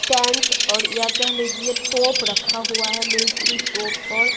tank और या कह लीजिए तोप रखा हुआ है मिलिट्री तोप और --